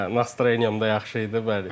Hə, nastroyeniyam da yaxşı idi, bəli.